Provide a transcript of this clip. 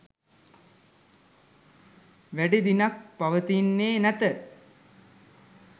වැඩි දිනක් පවතින්නේ නැත.